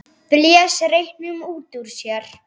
Blés reyknum út úr sér.